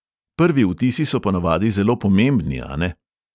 Prvi vtisi so ponavadi zelo pomembni, a ne ...